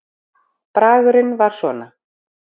Bragurinn var svona